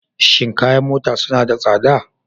Shin kayan mota suna da tsada?